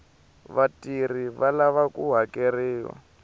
vatirhi va lava ku hakeriwa